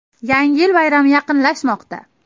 Yangi yil bayrami yaqinlashmoqda.